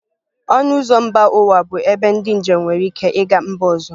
Ọnụ ụzọ mba ụwa bụ ebe ndị njem nwere ike ịga mba ọzọ